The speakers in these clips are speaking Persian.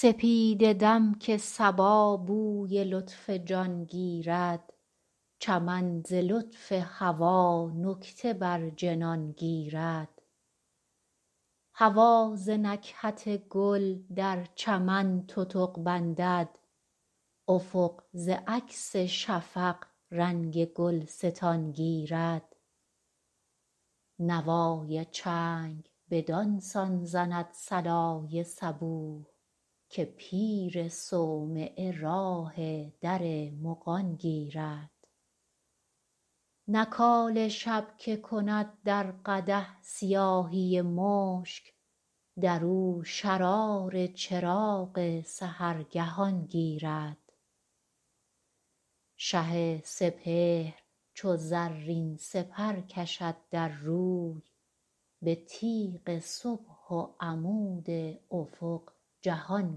سپیده دم که صبا بوی لطف جان گیرد چمن ز لطف هوا نکته بر جنان گیرد هوا ز نکهت گل در چمن تتق بندد افق ز عکس شفق رنگ گلستان گیرد نوای چنگ بدان سان زند صلای صبوح که پیر صومعه راه در مغان گیرد نکال شب که کند در قدح سیاهی مشک در او شرار چراغ سحرگهان گیرد شه سپهر چو زرین سپر کشد در روی به تیغ صبح و عمود افق جهان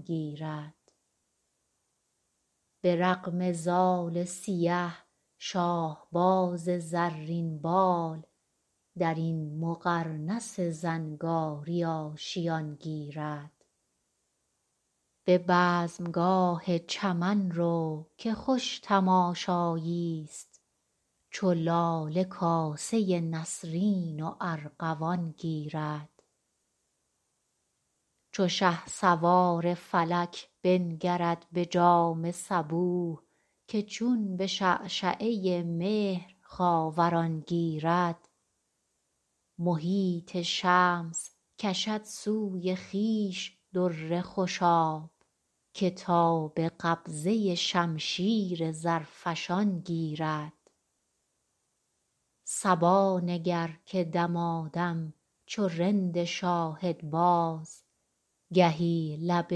گیرد به رغم زال سیه شاهباز زرین بال در این مقرنس زنگاری آشیان گیرد به بزم گاه چمن رو که خوش تماشایی است چو لاله کاسه نسرین و ارغوان گیرد چو شهسوار فلک بنگرد به جام صبوح که چون به شعشعه مهر خاوران گیرد محیط شمس کشد سوی خویش در خوشآب که تا به قبضه شمشیر زرفشان گیرد صبا نگر که دمادم چو رند شاهدباز گهی لب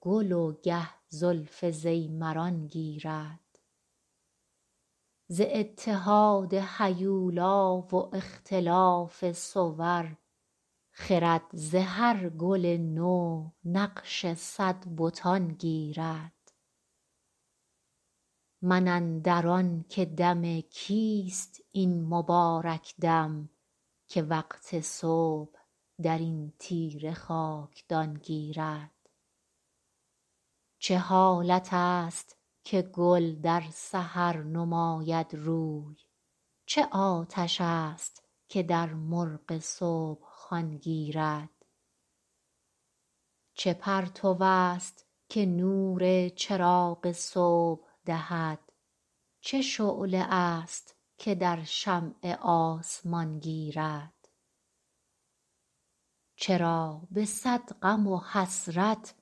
گل و گه زلف ضیمران گیرد ز اتحاد هیولا و اختلاف صور خرد ز هر گل نو نقش صد بتان گیرد من اندر آن که دم کیست این مبارک دم که وقت صبح در این تیره خاکدان گیرد چه حالت است که گل در سحر نماید روی چه آتش است که در مرغ صبح خوان گیرد چه پرتو است که نور چراغ صبح دهد چه شعله است که در شمع آسمان گیرد چرا به صد غم و حسرت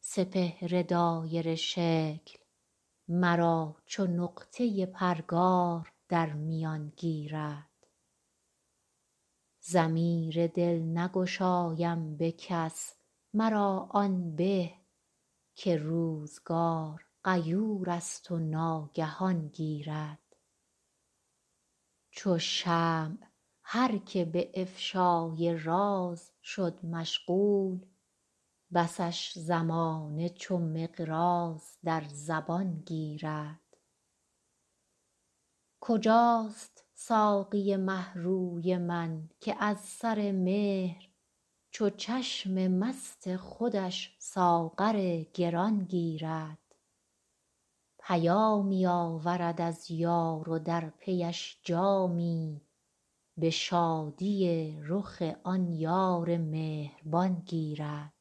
سپهر دایره شکل مرا چو نقطه پرگار در میان گیرد ضمیر دل نگشایم به کس مرا آن به که روزگار غیور است و ناگهان گیرد چو شمع هر که به افشای راز شد مشغول بسش زمانه چو مقراض در زبان گیرد کجاست ساقی مه روی من که از سر مهر چو چشم مست خودش ساغر گران گیرد پیامی آورد از یار و در پی اش جامی به شادی رخ آن یار مهربان گیرد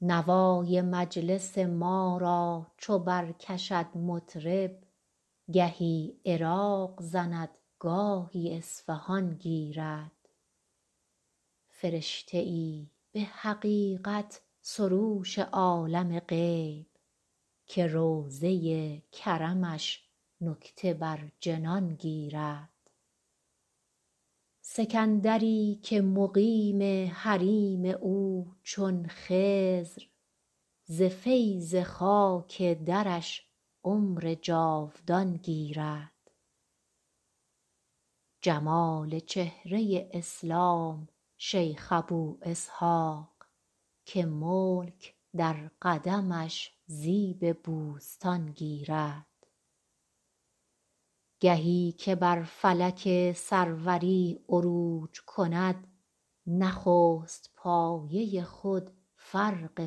نوای مجلس ما را چو برکشد مطرب گهی عراق زند گاهی اصفهان گیرد فرشته ای به حقیقت سروش عالم غیب که روضه کرمش نکته بر جنان گیرد سکندری که مقیم حریم او چون خضر ز فیض خاک درش عمر جاودان گیرد جمال چهره اسلام شیخ ابو اسحاق که ملک در قدمش زیب بوستان گیرد گهی که بر فلک سروری عروج کند نخست پایه خود فرق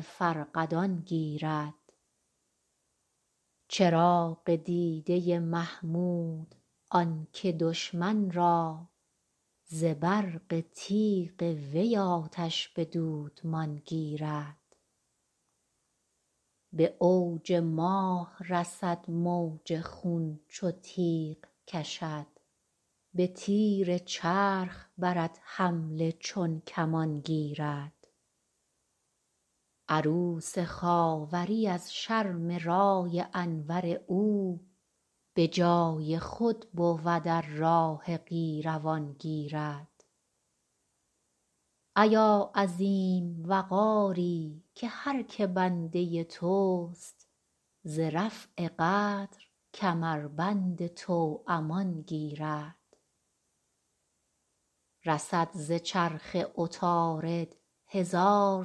فرقدان گیرد چراغ دیده محمود آن که دشمن را ز برق تیغ وی آتش به دودمان گیرد به اوج ماه رسد موج خون چو تیغ کشد به تیر چرخ برد حمله چون کمان گیرد عروس خاوری از شرم رأی انور او به جای خود بود ار راه قیروان گیرد ایا عظیم وقاری که هر که بنده توست ز رفع قدر کمربند توأمان گیرد رسد ز چرخ عطارد هزار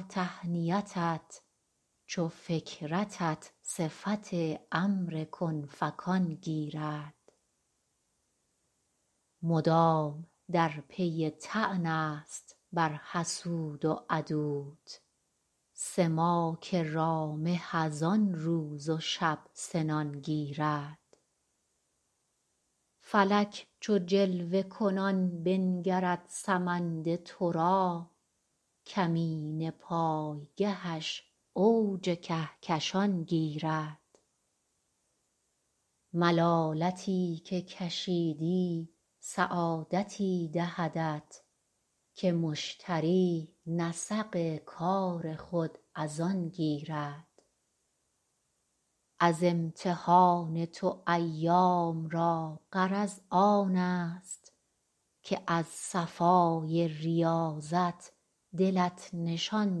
تهنیتت چو فکرتت صفت امر کن فکان گیرد مدام در پی طعن است بر حسود و عدوت سماک رامح از آن روز و شب سنان گیرد فلک چو جلوه کنان بنگرد سمند تو را کمینه پایگهش اوج کهکشان گیرد ملالتی که کشیدی سعادتی دهدت که مشتری نسق کار خود از آن گیرد از امتحان تو ایام را غرض آن است که از صفای ریاضت دلت نشان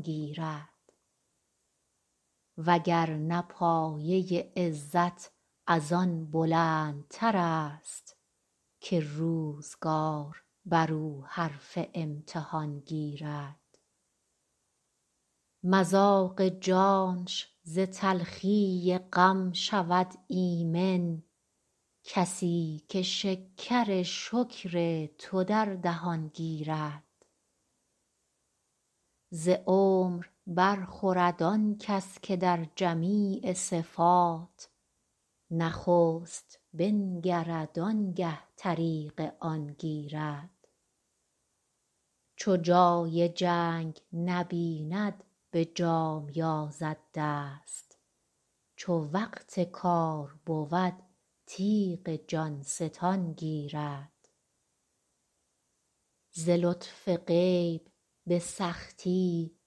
گیرد وگرنه پایه عزت از آن بلندتر است که روزگار بر او حرف امتحان گیرد مذاق جانش ز تلخی غم شود ایمن کسی که شکر شکر تو در دهان گیرد ز عمر برخورد آن کس که در جمیع صفات نخست بنگرد آنگه طریق آن گیرد چو جای جنگ نبیند به جام یازد دست چو وقت کار بود تیغ جان ستان گیرد ز لطف غیب به سختی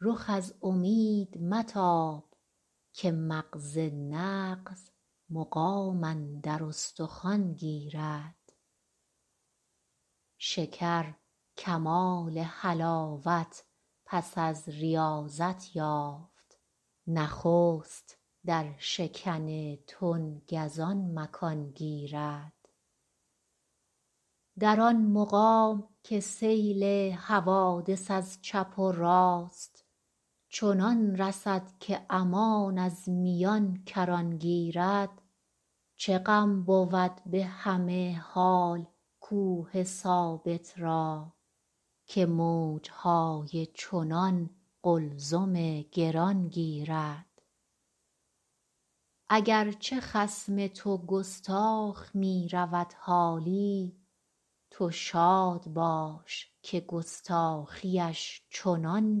رخ از امید متاب که مغز نغز مقام اندر استخوان گیرد شکر کمال حلاوت پس از ریاضت یافت نخست در شکن تنگ از آن مکان گیرد در آن مقام که سیل حوادث از چپ و راست چنان رسد که امان از میان کران گیرد چه غم بود به همه حال کوه ثابت را که موجهای چنان قلزم گران گیرد اگرچه خصم تو گستاخ می رود حالی تو شاد باش که گستاخی اش چنان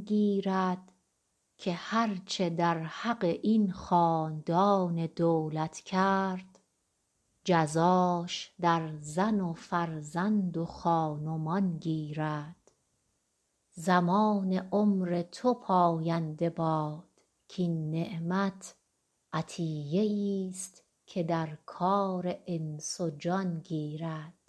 گیرد که هر چه در حق این خاندان دولت کرد جزاش در زن و فرزند و خان و مان گیرد زمان عمر تو پاینده باد کـ این نعمت عطیه ای است که در کار انس و جان گیرد